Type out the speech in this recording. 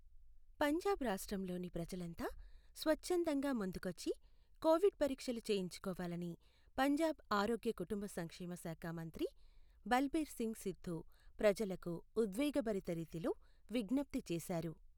పంజాబ్ రాష్ట్రంలోని ప్రజలంతా స్వచ్ఛందంగా ముందుకొచ్చి కోవిడ్ పరీక్షలు చేయించుకోవాలని పంజాబ్ ఆరోగ్య కుటుంబ సంక్షేమశాఖ మంత్రి బల్బీర్ సింగ్ సిద్దూ ప్రజలకు ఉద్వేగభరిత రీతిలో విజ్ఞప్తి చేశారు.